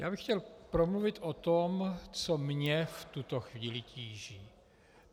Já bych chtěl promluvit o tom, co mě v tuto chvíli tíží.